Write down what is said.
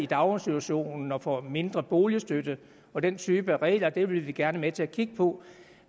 daginstitutionen og får mindre i boligstøtte og den type regler vil vi gerne være med til at kigge på